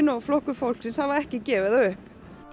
og Flokkur fólksins hafa ekki gefið það upp